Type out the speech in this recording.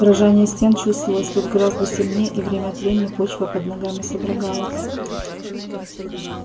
дрожание стен чувствовалось тут гораздо сильнее и время от времени почва под ногами содрогалась